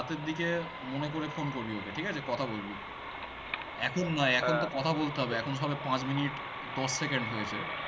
রাতের দিকে মনে করে phone করবি ওকে ঠিক আছে কথা বলবি এখন নয় বলতে হবে এখন সবে পাঁচ minute দশ second হয়েছে